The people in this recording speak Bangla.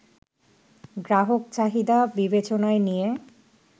গ্রাহক চাহিদা বিবেচনায় নিয়ে